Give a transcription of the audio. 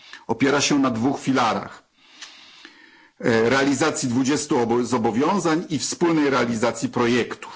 Opiera się na dwóch filarach realizacji 20 zobowiązań i wspólnej realizacji projektów.